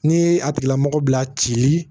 N'i ye a tigilamɔgɔ bila ci